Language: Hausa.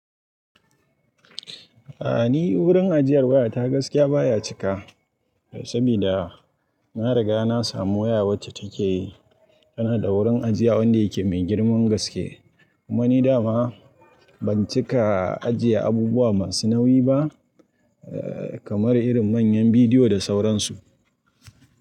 A'a ni wurin ajiyar wayata gaskiya baya cika sabida na riga na samu waya wacce take tana da wurin ajiya wanda yake mai girman gaske kuma ni dama ban cika ajiye abubuwa masu nauyi ba kamar irin manyan bidiyo da sauransu.